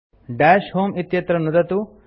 दश होमे इत्यत्र नुदतु